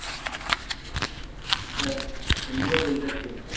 এটা লিলুয়া বেলগাছিয়া।